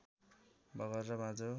बगर र बाँझो